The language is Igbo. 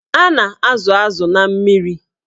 A na-azụ azụ na mmiri.